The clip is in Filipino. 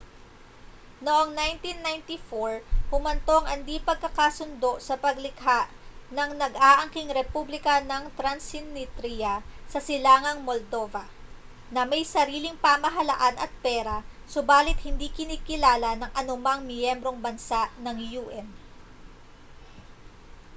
noong 1994 humantong ang di-pagkakasundo sa paglikha ng nag-aangking republika ng transnitria sa silangang moldova na may sariling pamahalaan at pera subalit hindi kinikilala ng anumang miyembrong bansa ng un